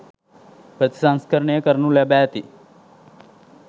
ප්‍රතිසංස්කරණය කරනු ලැබ ඇති,